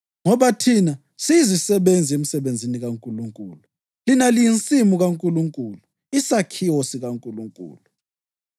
Ngoba thina siyizisebenzi emsebenzini kaNkulunkulu; lina liyinsimu kaNkulunkulu, isakhiwo sikaNkulunkulu.